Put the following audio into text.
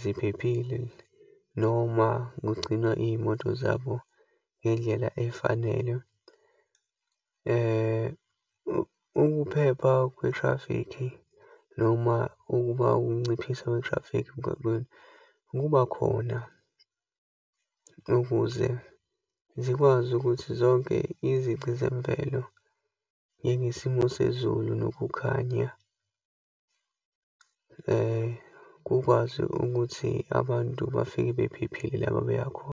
ziphephile, noma kugcinwa iyimoto zabo ngendlela efanele, ukuphepha kwethrafikhi, noma ukuba ukunciphisa kwethrafikhi emgaqweni, kuba khona ukuze zikwazi ukuthi zonke izici zemvelo, njengesimo sezulu nokukhanya, kukwazi ukuthi abantu bafike bephephile la babeya khona.